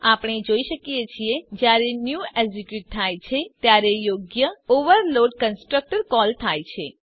આપણે જોઈ શકીએ છીએ જયારે ન્યૂ એક્ઝીક્યુટ થાય છે ત્યારે યોગ્ય ઓવરલોડ કન્સ્ટ્રક્ટર કોલ થાય છે